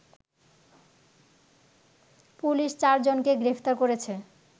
police চার জনকে গ্রেপ্তার করেছে